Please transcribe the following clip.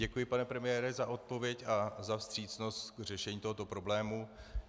Děkuji, pane premiére, za odpověď a za vstřícnost k řešení tohoto problému.